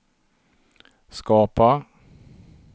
skapa